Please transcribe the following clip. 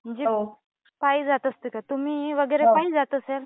पायीजात असते का? तुम्ही वगैरे पायी जात असाल.